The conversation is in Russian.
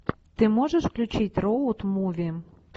ты можешь включить роуд муви